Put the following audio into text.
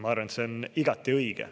Ma arvan, et see on igati õige.